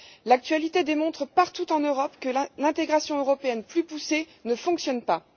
L'actualité démontre partout en Europe que l'intégration européenne plus poussée ne fonctionne pas.